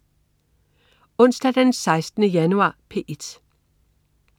Onsdag den 16. januar - P1: